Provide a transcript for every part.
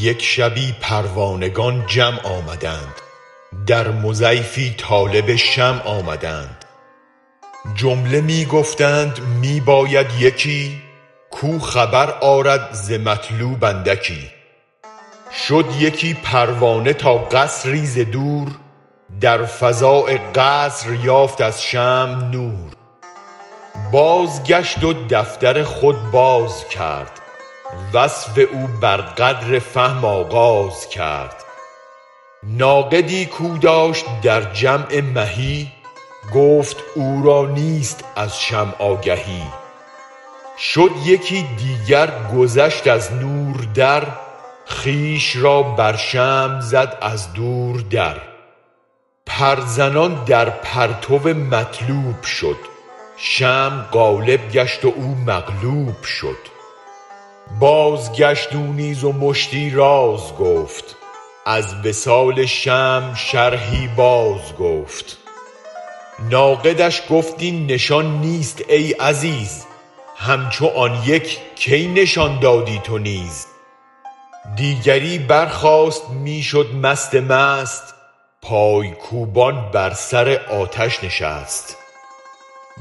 یک شبی پروانگان جمع آمدند در مضیفی طالب شمع آمدند جمله می گفتند می باید یکی کو خبر آرد ز مطلوب اندکی شد یکی پروانه تا قصری ز دور در فضاء قصر یافت از شمع نور بازگشت و دفتر خود بازکرد وصف او بر قدر فهم آغاز کرد ناقدی کو داشت در جمع مهی گفت او را نیست از شمع آگهی شد یکی دیگر گذشت از نور در خویش را بر شمع زد از دور در پر زنان در پرتو مطلوب شد شمع غالب گشت و او مغلوب شد بازگشت او نیز و مشتی راز گفت از وصال شمع شرحی باز گفت ناقدش گفت این نشان نیست ای عزیز همچو آن یک کی نشان دادی تو نیز دیگری برخاست می شد مست مست پای کوبان بر سر آتش نشست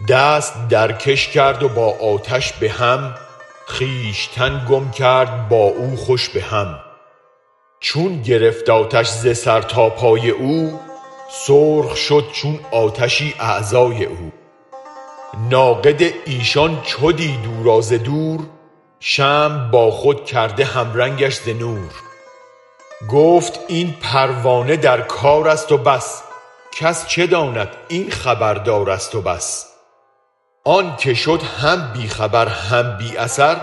دست درکش کرد با آتش به هم خویشتن گم کرد با او خوش به هم چون گرفت آتش ز سر تا پای او سرخ شد چون آتشی اعضای او ناقد ایشان چو دید او را ز دور شمع با خود کرده هم رنگش ز نور گفت این پروانه در کارست و بس کس چه داند این خبر دارست و بس آنک شد هم بی خبر هم بی اثر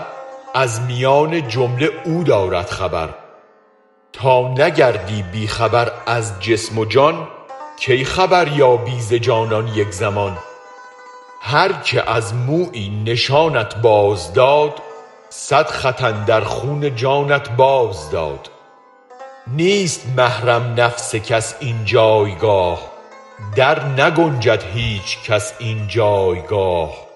از میان جمله او دارد خبر تا نگردی بی خبر از جسم و جان کی خبر یابی ز جانان یک زمان هرکه از مویی نشانت باز داد صد خط اندر خون جانت باز داد نیست محرم نفس کس این جایگاه در نگنجد هیچ کس این جایگاه